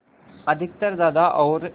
अधिकतर दादा और